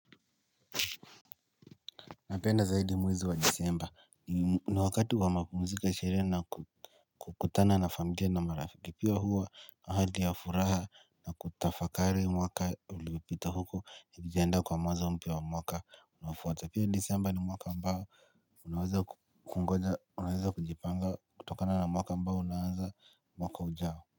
Napenda zaidi mwezi wa Disemba, ni wakati wa mapumziko ya sherehe na kukutana na familia na marafiki, pia huwa hali ya furaha na kutafakari mwaka uliopita huku nikienda kwa mwanzo mpya wa mwaka unaofuata, pia Disemba ni mwaka ambao unaweza Unaweza kujipanga kutokana na mwaka ambao unaanza mwaka ujao.